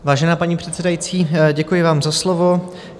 Vážená paní předsedající, děkuji vám za slovo.